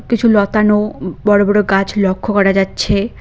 কিছু লতানো বড় বড় গাছ লক্ষ্য করা যাচ্ছে।